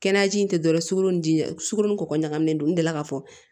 Kɛnɛyaji tɛ dɔrɔn sukoro diɲɛ sugororo ni kɔkɔ ɲagaminen don n delila ka fɔ